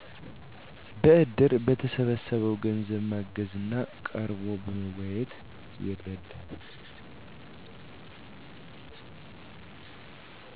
በእድር በተሠበሰበው ገንዘብ ማገዝ እና ቀርቦ በማወያየት ይረዳል።